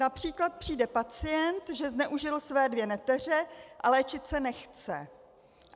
Například přijde pacient, že zneužil své dvě neteře, a léčit se nechce.